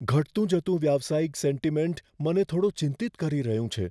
ઘટતું જતું વ્યવસાયિક સેન્ટિમેન્ટ મને થોડો ચિંતિત કરી રહ્યું છે.